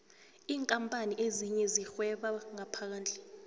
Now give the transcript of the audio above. iinkapani ezinye zirhweba ngaphandle